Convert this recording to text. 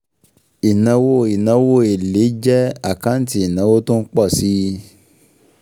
Ìnáwó Ìnáwó èlé jẹ́ àkáǹtì ìnáwó tó ń pọ̀ si